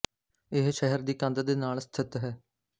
ਇਹ ਸ਼ਹਿਰ ਦੀ ਕੰਧ ਦੇ ਨਾਲ ਸਥਿਤ ਹੈ